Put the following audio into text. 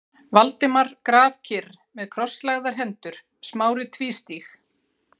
Valdimar grafkyrr með krosslagðar hendur, Smári tvístíg